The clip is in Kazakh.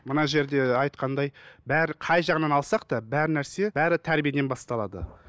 мына жерде айтқандай бәрі қай жағынан алсақ та бар нәрсе бәрі тәрбиеден басталады